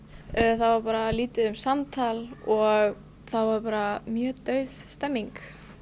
það var lítið um samtal og það var bara mjög dauð stemmning